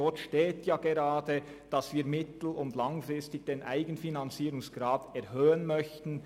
Darin steht gerade, dass wir mittel- und langfristig den Eigenfinanzierungsgrad erhöhen möchten.